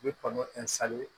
U bi kɔnɔn